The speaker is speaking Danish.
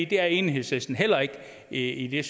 det er enhedslisten heller ikke ikke